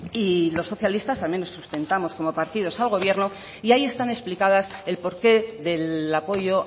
y los socialistas también lo sustentamos como partidos al gobierno y ahí están explicadas el porqué del apoyo